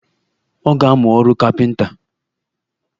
Ọ ga-amụ ọrụ kapinta